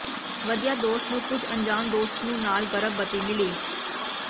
ਵਧੀਆ ਦੋਸਤ ਨੂੰ ਕੁਝ ਅਣਜਾਣ ਦੋਸਤ ਨੂੰ ਨਾਲ ਗਰਭਵਤੀ ਮਿਲੀ